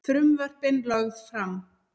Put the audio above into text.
Frumvörpin lögð fram